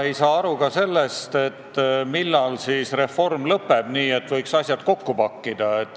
Ei saa aru ka sellest, millal siis reform lõpeb, nii et võiks asjad kokku pakkida.